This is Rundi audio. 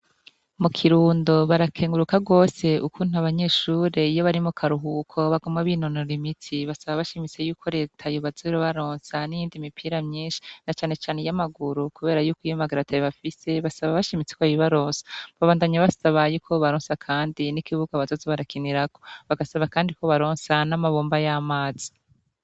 Mu kirundo barakenguruka gose ukuntu abanyeshure iyo bari mukaruhuko baguma binonora imitsi basaba bashimise yuko reta yoza ira baronsa n'iyindi mipira myinshi na canecane iya maguru, kubera yuko iya maguru atayo bafise basaba bashimitse ko bayi baronsa babandanya basaba yuko yobaronsa kandi n'ikibuga bazoza bara kinirako bagasaba kandi ko ibaronsa n'amabomba y'amazi.